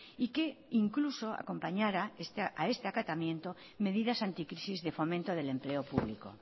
y que incluso acompañara a este acatamiento medidas anticrisis de fomento del empleo público